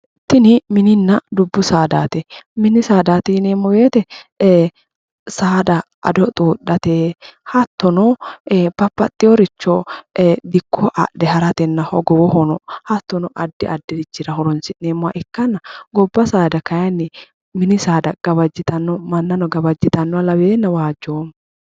Tini mininna dubu saadati, mini saadati yineemmo woyte ee saada ado xudhate hattono babbaxeworicho dikko adhe haratenna hattono addi addirichira horonsi'neemmoha ikkanna gobba saada kayinni mini saada gawajittano mannano gawajittanoha lawenae waajjoomma.